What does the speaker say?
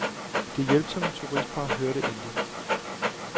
Det hjælpsomme turistpar hørte intet.